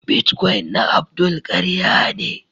" Bitcoin na Abdul karya ne.